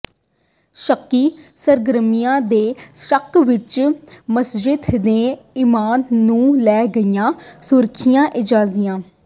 ਸ਼ੱਕੀ ਸਰਗਰਮੀਆਂ ਦੇ ਸੱਕ ਵਿਚ ਮਸਜਿਦ ਦੇ ਇਮਾਮ ਨੂੰ ਲੈ ਗਈਆਂ ਸੁਰੱਖਿਆ ਏਜੰਸੀਆਂ